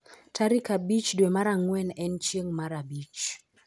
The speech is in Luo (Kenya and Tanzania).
Tarik abich dwe mar ang'wen en chieng' mar abich